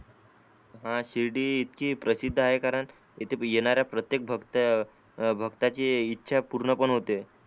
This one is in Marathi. हा शिर्डी इतकी प्रसिद्ध आहे कारण इथे येणाऱ्या प्रत्येक भक्ताचे इच्छा पूर्ण पण होते.